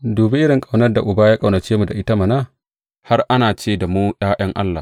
Dubi irin ƙaunar da Uba ya ƙaunace mu da ita mana, har ana ce da mu ’ya’yan Allah!